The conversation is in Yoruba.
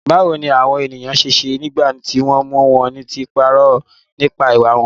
Báwo ni àwọn ènìyàn ṣe ṣe nígbà tí wọ́n mú wọn tí wọ́n parọ́ nípa ìwà wọn?